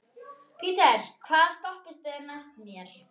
Petter, hvaða stoppistöð er næst mér?